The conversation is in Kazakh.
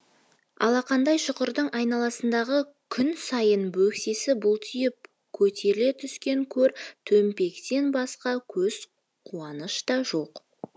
алақандай шұқырдың айналасындағы күн сайын бөксесі бұлтиып көтеріле түскен көр төмпектен басқа көз қуаныш та жоқ